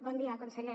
bon dia conseller